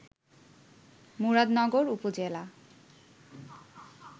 মুরাদনগর উপজেলা